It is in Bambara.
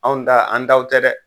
Anw ta an taw tɛ dɛ